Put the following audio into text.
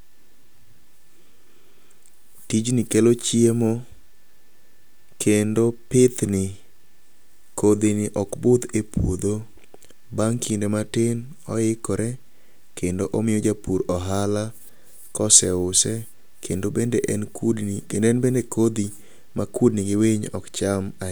Tijni kelo chiemo, kendo pithni ,kodhini ok budh e puodho. Bang' kinde matin oikore kendo omiyo japur ohala koseuse, kendo en bende kodhi ma kudni gi winy ok cham ahinya.